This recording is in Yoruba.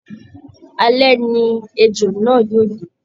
Alẹ ni ejò náà yóò dé